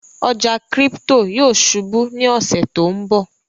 ọja crypto yóò ṣubú ní ọṣẹ to nbọ.